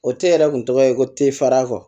O te yɛrɛ kun tɔgɔ ye ko tefara kɔ